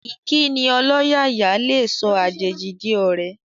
Ìkíni ọlọ́yàyà lè sọ àjèjì di ọ̀rẹ́